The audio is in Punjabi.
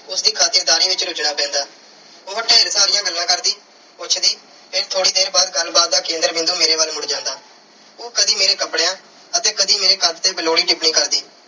ਉਸ ਦੀ ਖਾਤਰਦਾਰੀ ਵਿੱਚ ਰੁਝਨਾ ਪੈਂਦਾ। ਉਹ ਢੇਰ ਸਾਰੀਆਂ ਗੱਲਾਂ ਕਰਦੀ, ਪੁੱਛਦੀ ਤੇ ਥੋੜ੍ਹੀ ਦੇਰ ਬਾਅਦ ਗੱਲਬਾਤ ਦਾ ਕੇਂਦਰ ਬਿੰਦੂ ਮੇਰੇ ਵੱਲ ਮੁੜ ਜਾਂਦਾ। ਉਹ ਕਦੀ ਮੇਰੇ ਕੱਪੜਿਆਂ ਅਤੇ ਕਦੀ ਮੇਰੇ ਕੱਦ ਤੇ ਬੇਲੋੜੀ ਟਿੱਪਣੀ ਕਰਦੀ